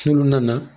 N'olu nana